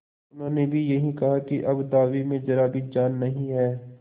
उन्होंने भी यही कहा कि अब दावे में जरा भी जान नहीं है